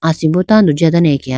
asimbo tando jiya dane akeya.